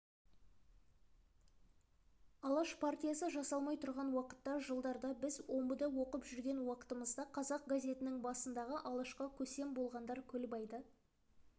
алаш партиясы жасалмай тұрған уақытта жылдарда біз омбыда оқып жүрген уақытымызда қазақ газетінің басындағы алашқа көсем болғандар көлбайды